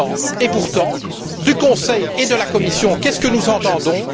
Et pourtant, de la part du Conseil et de la Commission, qu'est ce que nous entendons?